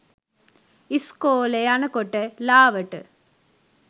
ඉස්කෝලෙ යනකොට ලාවට